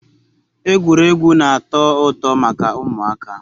Egwuregwu na-ato uto maka umuaka